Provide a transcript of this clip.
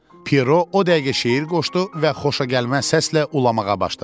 Piro o dəqiqə şeir qoşdu və xoşagəlməz səslə ulamağa başladı.